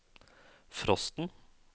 frosten